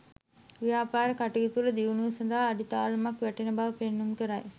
ව්‍යාපාර කටයුතුවල දියුණුව සඳහා අඩිතාලමක් වැටෙන බව පෙන්නුම් කරයි.